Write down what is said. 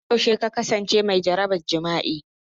Har yaushe ka kasance mai jaraban jima'i?